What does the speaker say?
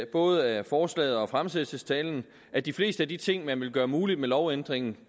både af forslaget og af fremsættelsestalen at de fleste af de ting man vil gøre muligt med lovændringen